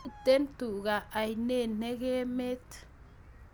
Miten tuka ainet nekemet